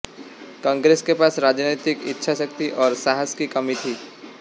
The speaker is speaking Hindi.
कांग्रेस के पास राजनीतिक इच्छाशक्ति और साहस की कमी थी